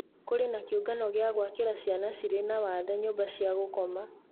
Kũrĩ na kĩũngano gĩa gũakira ciana cirĩ na wathe nyũmba cia gũkoma